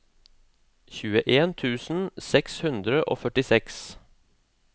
tjueen tusen seks hundre og førtiseks